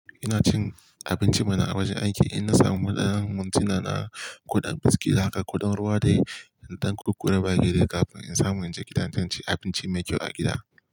Ina cin abinci mana a wajen aiki, in na samu maɗayan maltina na koɗan biskit haka koɗan ruwa dai don kurkure ba gida kafin in samu inje gidan abinci mai kyau a gida.